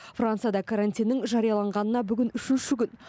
францияда карантиннің жарияланғанына бүгін үшінші күн